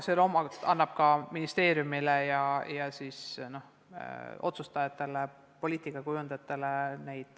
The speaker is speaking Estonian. See annab teavet ka ministeeriumile ja otsustajatele, poliitikakujundajatele.